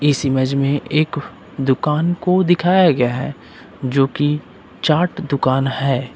इस इमेज में एक दुकान को दिखाया गया है जो कि चाट दुकान है।